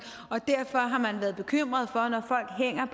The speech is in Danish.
derfor har man været bekymret